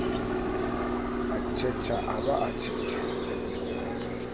tjhetjha a ba a tjhetjha